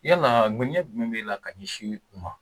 Yala ŋaniya jumɛn b'e la ka ɲɛsin u ma.